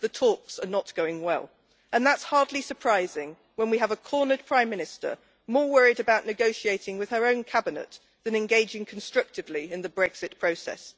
The talks are not going well, and that is hardly surprising when we have a cornered Prime Minister more worried about negotiating with her own cabinet than engaging constructively in the Brexit process.